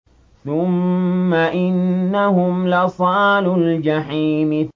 ثُمَّ إِنَّهُمْ لَصَالُو الْجَحِيمِ